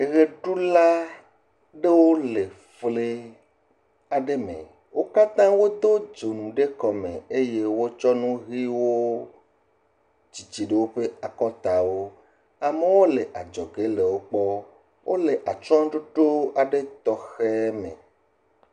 Ɣeɖula aɖewo le flime aɖe me wo katã wodo dzonu eye wotsɔ nu ɣiwo titiɖe woƒe akɔtawo amewo le adzɔge le wokpɔm wole atsyɔɖoɖo tɔxɛwo me